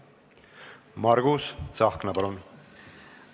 Margus Tsahkna, palun!